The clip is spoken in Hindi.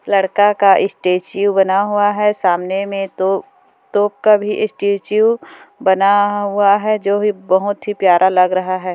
लड़का का स्टैचू बना हुआ है सामने मे तो तो कभी स्टैचू बना हुआ है जो भी बहुत प्यारा लग रहा है।